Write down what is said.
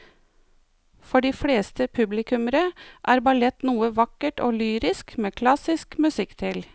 For de fleste publikummere er ballett noe vakkert og lyrisk med klassisk musikk til.